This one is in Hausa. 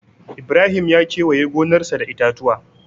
Ibrahim ya kewaye gonarsa da itatuwa.